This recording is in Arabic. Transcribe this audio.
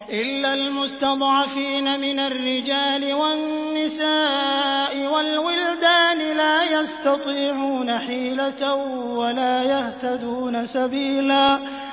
إِلَّا الْمُسْتَضْعَفِينَ مِنَ الرِّجَالِ وَالنِّسَاءِ وَالْوِلْدَانِ لَا يَسْتَطِيعُونَ حِيلَةً وَلَا يَهْتَدُونَ سَبِيلًا